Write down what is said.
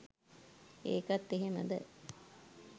ඒකත් එහෙමද